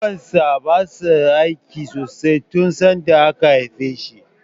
Kunnuwan sa basa aiki sosai tun sanda aka haife shi.